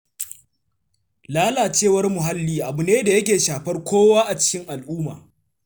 Lalacewar muhalli abu ne da yake shafar kowa a cikin al'umma.